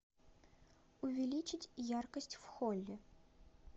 увеличить яркость в холле